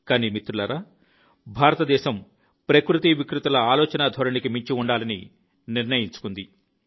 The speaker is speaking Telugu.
కానీ మిత్రులారా భారతదేశం ప్రకృతి వికృతిల ఆలోచనాధోరణికి మించి ఉండాలని నిర్ణయించుకుంది